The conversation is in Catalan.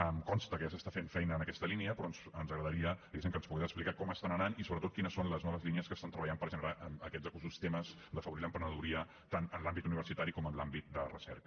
em consta que ja s’està fent feina en aquesta línia però ens agradaria diguéssim que ens pogués explicar com estan anant i sobretot quines són les noves línies que estan treballant per generar aquests ecosistemes d’afavorir l’emprenedoria tant en l’àmbit universitari com en l’àmbit de recerca